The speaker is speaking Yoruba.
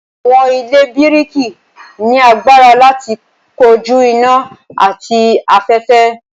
awọn ile biriki ni agbara lati koju ina ati afẹfẹ.